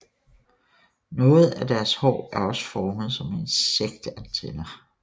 Noget af deres hår er også formet som insektantenner